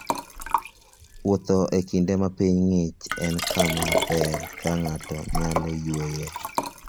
Wuoth e kinde ma piny ng'ich en kama ber ma ng'ato nyalo yueyoe.